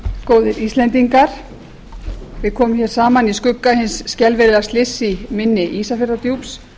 góðir íslendingar við komum saman í skugga hins skelfilega slyss í mynni ísafjarðardjúps